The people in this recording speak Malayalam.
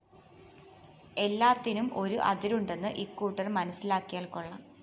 എല്ലാത്തിനും ഒരു അതിരുണ്ടെന്ന് ഇക്കൂട്ടര്‍ മനസ്സിലാക്കിയാല്‍ കൊള്ളാം